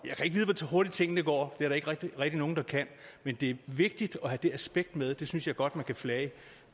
hurtigt tingene går det er der ikke rigtig nogen der kan men det er vigtigt at have det aspekt med det synes jeg godt man flage